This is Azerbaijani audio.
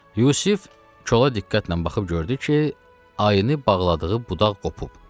Yusif kola diqqətlə baxıb gördü ki, ayını bağladığı budaq qopub.